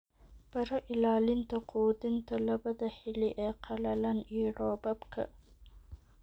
Baro ilaalinta quudinta labada xilli ee qalalan iyo roobabka.